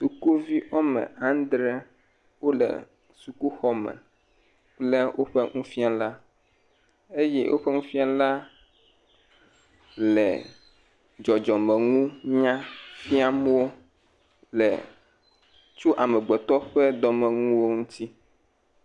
Sukuvi woame aŋdre wo le sukuxɔme kple woƒe nufiala, eye woƒe nufiala le dzɔdzɔme nunya fiam wo tso amegbetɔ ƒe dɔme nuwo ŋuti.